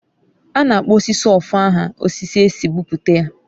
A na-akpọ osisi ofo aha osisi e si kpụpụta ya.